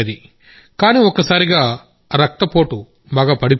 కానీ ఒక్కసారిగా రక్తపోటు బాగా పడిపోయింది